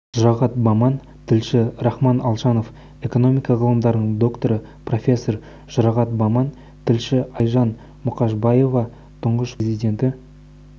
жұрағат баман тілші рахман алшанов экономика ғылымдарының докторы профессор жұрағат баман тілші айжан мұқышбаева тұңғыш президенті